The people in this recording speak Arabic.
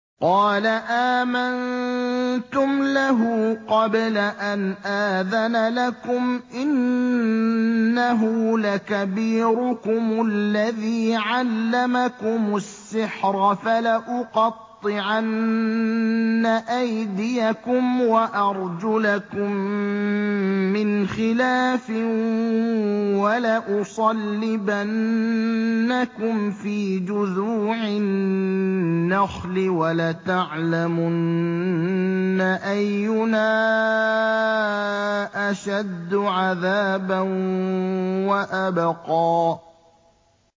قَالَ آمَنتُمْ لَهُ قَبْلَ أَنْ آذَنَ لَكُمْ ۖ إِنَّهُ لَكَبِيرُكُمُ الَّذِي عَلَّمَكُمُ السِّحْرَ ۖ فَلَأُقَطِّعَنَّ أَيْدِيَكُمْ وَأَرْجُلَكُم مِّنْ خِلَافٍ وَلَأُصَلِّبَنَّكُمْ فِي جُذُوعِ النَّخْلِ وَلَتَعْلَمُنَّ أَيُّنَا أَشَدُّ عَذَابًا وَأَبْقَىٰ